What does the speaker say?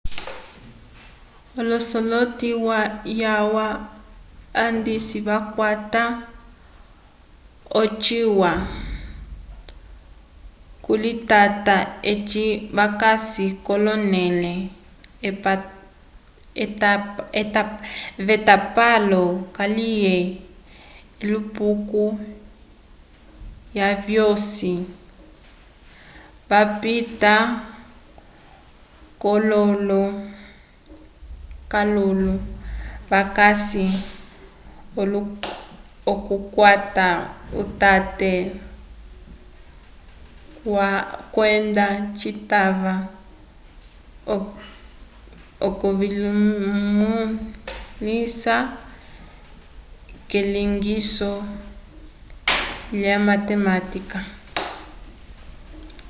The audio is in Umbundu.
l'osoloti yalwa andisi vakwata ocituwa c'okulitata eci vakasi k'onẽle yetapalo kaliye elupuko lyavosi vapita k'akololo vakasi l'okukwata utate walwa kwenda citava okuvimõlisa k'elilongiso lyomatematika